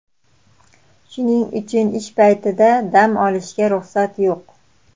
Shuning uchun ish paytida dam olishga ruxsat yo‘q.